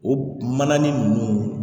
O manani ninnu